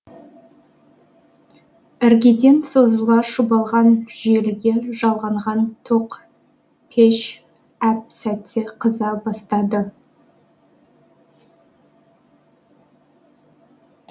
іргеден созыла шұбалған желіге жалғанған тоқ пеш әп сәтте қыза бастады